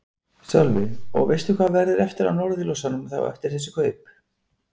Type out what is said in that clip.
Sölvi: Og veistu hvað verður eftir af Norðurljósum þá eftir þessi kaup?